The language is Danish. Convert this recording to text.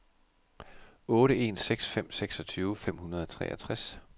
otte en seks fem seksogtyve fem hundrede og treogtres